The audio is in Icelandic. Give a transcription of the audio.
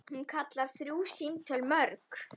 Hún kallar þrjú símtöl mörg.